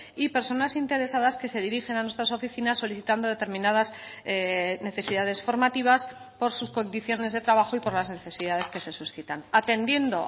y personas interesadas que se dirigen a nuestras oficinas solicitando determinadas necesidades formativas por sus condiciones de trabajo y por las necesidades que se suscitan atendiendo